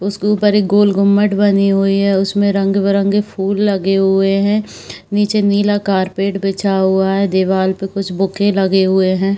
उसके उपर एक गोल घुमट बनी हुई है। उसमे रंग बिरंगे फुल लगे हुए हैं। नीचे नीला कारपेट बिछा हुआ है। दीवाल पे कुछ बुके लगे हुए हैं।